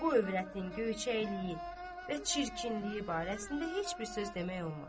Bu övrətin göyçəkliyi və çirkinliyi barəsində heç bir söz demək olmaz.